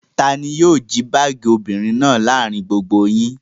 Ta ni yóò jí báágì obìnrin náà láàárin gbogbo yín?